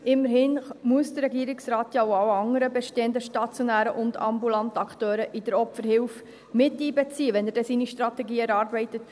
Immerhin muss der Regierungsrat ja auch alle anderen bestehenden stationären und ambulanten Akteure bei der Opferhilfe miteinbeziehen, wenn er dann seine Strategie erarbeitet.